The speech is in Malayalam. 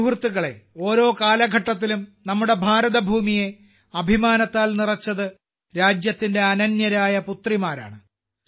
സുഹൃത്തുക്കളേ ഓരോ കാലഘട്ടത്തിലും നമ്മുടെ ഭാരതഭൂമിയെ അഭിമാനത്താൽ നിറച്ചത് രാജ്യത്തിന്റെ അനന്യരായ പുത്രിമാരാണ്